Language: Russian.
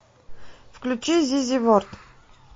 включи зизи ворд